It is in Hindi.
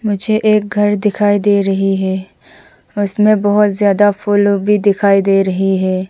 मुझे एक घर दिखाई दे रही है उसमें बहोत ज्यादा फूल लोग भी दिखाई दे रही है।